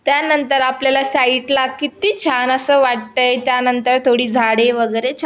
त्यानंतर आपल्याला साइड ला कित्ति छान असं वाटतय त्यानंतर थोडी झाडे वगैरे छा --